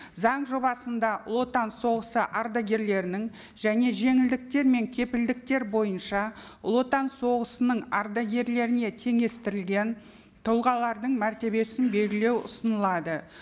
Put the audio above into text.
заң жобасында ұлы отан соғысы ардагерлерінің және жеңілдіктер мен кепілдіктер бойынша ұлы отан соғысының ардагерлеріне теңестірілген тұлғалардың мәртебесін белгілеу ұсынылады